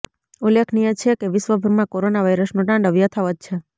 ઉલ્લેખનીય છે કે વિશ્વભરમાં કોરોના વાયરસનું તાંડવ યથાવત છે